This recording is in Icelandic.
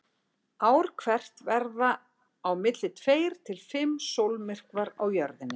Ár hvert verða á milli tveir til fimm sólmyrkvar á Jörðinni.